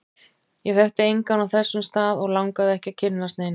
Ég þekkti engan á þessum stað, og langaði ekki að kynnast neinum.